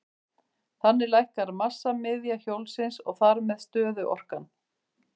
Þannig lækkar massamiðja hjólsins og þar með stöðuorkan.